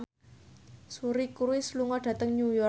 Suri Cruise lunga dhateng New York